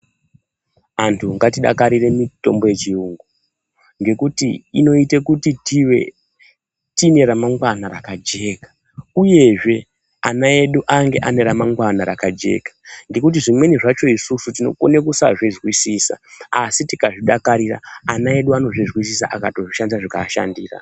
Antu ngatidakarire mitombo yechirungu ngekuti inoita kuti tive neramangwana rakajeka uyezve ana edu ave neramangwana rakajeka ngekuti zvimweni zvakona isusu tinokona kusazvinzwisisa asi tikazvidakarira ana edu anozozvinzwisisa akazozvishandisa zvikaashandira.